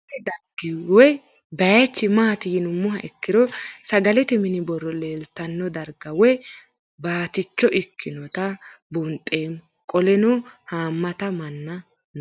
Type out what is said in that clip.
Kuni dargi woye bayich mati yinumoha ikiro sagalete mini boro leelitano darga woyi baticho ikinota buunxemo qoleno hamata manna no